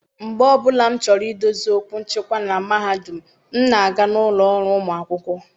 mgbe ọ bụla m chọrọ idozi okwu nchịkwa na mahadum m, m na-aga n'ụlọ ọrụ ụmụ akwụkwọ.